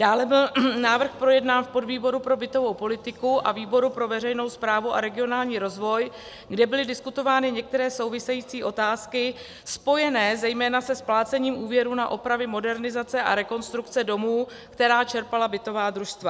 Dále byl návrh projednán v podvýboru pro bytovou politiku a výboru pro veřejnou správu a regionální rozvoj, kde byly diskutovány některé související otázky spojené zejména se splácením úvěrů na opravy, modernizace a rekonstrukce domů, které čerpala bytová družstva.